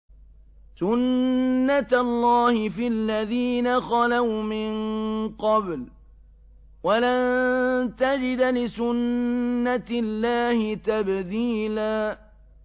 سُنَّةَ اللَّهِ فِي الَّذِينَ خَلَوْا مِن قَبْلُ ۖ وَلَن تَجِدَ لِسُنَّةِ اللَّهِ تَبْدِيلًا